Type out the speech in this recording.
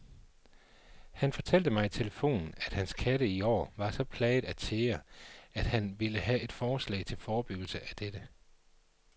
Han fortalte mig i telefonen, at hans katte i år var så plaget af tæger, at han ville have et forslag til forebyggelse af dette.